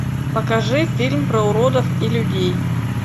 покажи фильм про уродов и людей